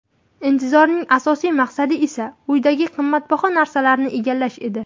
Intizorning asosiy maqsadi esa uydagi qimmatbaho narsalarni egallash edi.